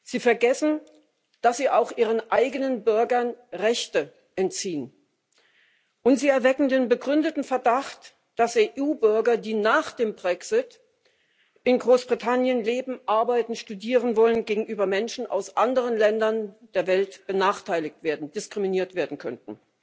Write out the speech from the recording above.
Sie vergessen, dass sie auch ihren eigenen Bürgern Rechte entziehen, und sie erwecken den begründeten Verdacht, dass EU Bürger, die nach dem Brexit in Großbritannien leben, arbeiten, studieren wollen, gegenüber Menschen aus anderen Ländern der Welt benachteiligt und diskriminiert werden könnten.